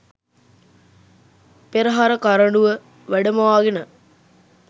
පෙරහර කරඬුව වැඩමවාගෙන